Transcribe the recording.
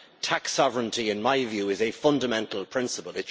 Tax sovereignty, in my view, is a fundamental principle.